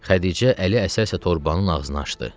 Xədicə ələ əsə-əsə torbanın ağzını açdı.